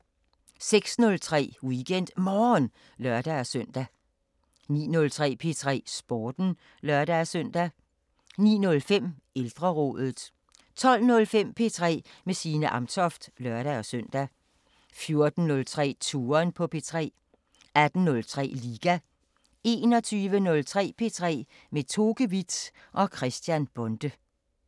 06:03: WeekendMorgen (lør-søn) 09:03: P3 Sporten (lør-søn) 09:05: Ældrerådet 12:05: P3 med Signe Amtoft (lør-søn) 14:03: Touren på P3 18:03: Liga 21:03: P3 med Toke With og Christian Bonde